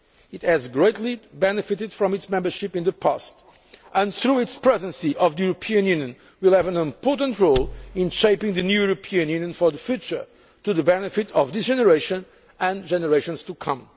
years. It has greatly benefited from its membership in the past, and through its Presidency of the European Union will have an important role in shaping the new European Union for the future to the benefit of this generation and generations